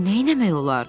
Neynəmək olar?